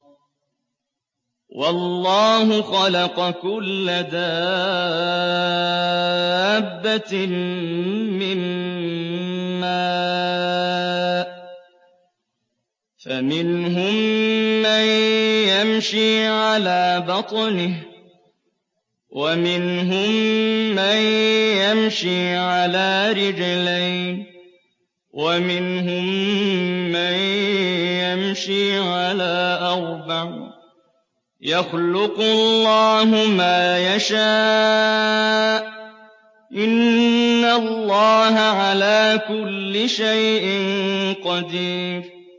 وَاللَّهُ خَلَقَ كُلَّ دَابَّةٍ مِّن مَّاءٍ ۖ فَمِنْهُم مَّن يَمْشِي عَلَىٰ بَطْنِهِ وَمِنْهُم مَّن يَمْشِي عَلَىٰ رِجْلَيْنِ وَمِنْهُم مَّن يَمْشِي عَلَىٰ أَرْبَعٍ ۚ يَخْلُقُ اللَّهُ مَا يَشَاءُ ۚ إِنَّ اللَّهَ عَلَىٰ كُلِّ شَيْءٍ قَدِيرٌ